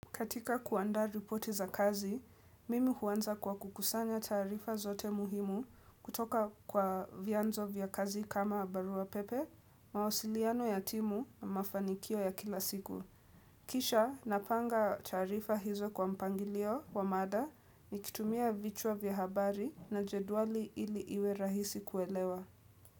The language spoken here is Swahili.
Katika kuanda ripoti za kazi, mimi huanza kwa kukusanya tarifa zote muhimu kutoka kwa vianzo vya kazi kama barua pepe, mawasiliano ya timu na mafanikio ya kila siku. Kisha napanga tarifa hizo kwa mpangilio wa mada, mikitumia vichua vya habari na jeduali ili iwe rahisi kuelewa.